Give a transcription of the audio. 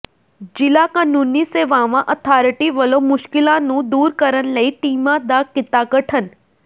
ਜ਼ਿਲ੍ਹਾ ਕਾਨੂੰਨੀ ਸੇਵਾਵਾਂ ਅਥਾਰਟੀ ਵਲੋਂ ਮੁਸ਼ਕਿਲਾਂ ਨੂੰ ਦੂਰ ਕਰਨ ਲਈ ਟੀਮਾਂ ਦਾ ਕੀਤਾ ਗਠਨ